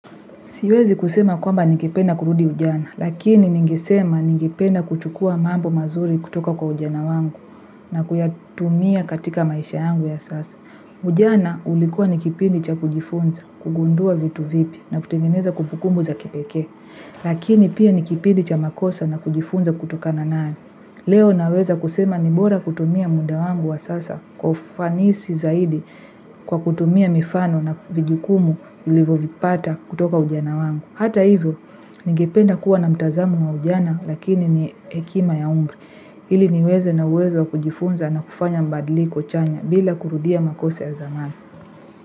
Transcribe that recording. Siwezi kusema kwamba ningependa kurudi ujana, lakini ningesema ningependa kuchukua mambo mazuri kutoka kwa ujana wangu na kuyatumia katika maisha yangu ya sasa. Ujana ulikuwa ni kipindi cha kujifunza, kugundua vitu vipya na kutengeneza kumbukumbu za kipekee, lakini pia nikipindi cha makosa na kujifunza kutokana nayo. Leo naweza kusema ni bora kutumia muda wangu wa sasa kwa ufanisi zaidi kwa kutumia mifano na vijukumu nilivovipata kutoka ujana wangu. Hata hivyo, ningependa kuwa na mtazamo wa ujana lakini ni hekima ya umri. Hili niweze na uwezo wa kujifunza na kufanya mabadiliko chanya bila kurudia makosa ya zamani.